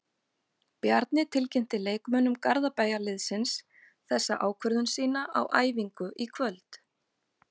Bjarni tilkynnti leikmönnum Garðabæjarliðsins þessa ákvörðun sína á æfingu í kvöld.